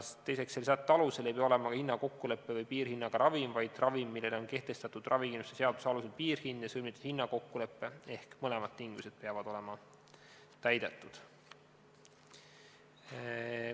Teiseks, selle sätte alusel ei pea olema ka hinnakokkuleppe või piirhinnaga ravim, vaid ravim, millele on kehtestatud ravikindlustuse seaduse alusel piirhind ja sõlmitud hinnakokkulepe, ehk mõlemad tingimused peavad olema täidetud.